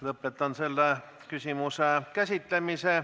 Lõpetan selle küsimuse käsitlemise.